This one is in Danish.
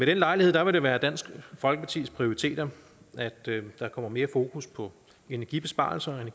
den lejlighed vil det være dansk folkepartis prioritet at der kommer mere fokus på energibesparelser og